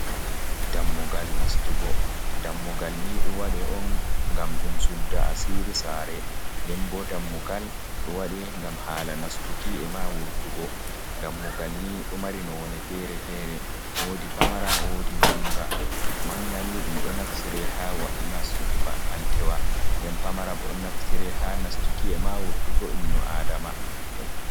Dammugal nastugo, dammugal ni ɗo waɗe on ngam ɗum sudda asiri sare, den bo dammugal ɗo waɗe ngam hala nastuki e ma wurtugo dammugal ni ɗo mari none fere-fere wodi pamara wodi ngmanga ni ɗum ɗo naftire hanastugo ba’antewa nden pamara bo ɗo naftire ha nastuki e ma wurtugo inno adama.